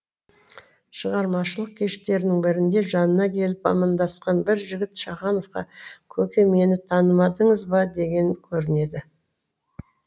шығармашылық кештерінің бірінде жанына келіп амандасқан бір жігіт шахановқа көке мені танымадыңыз ба деген көрінеді